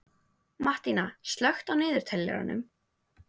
Mattína, slökktu á niðurteljaranum.